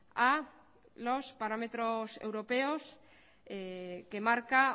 a los parámetros europeos que marca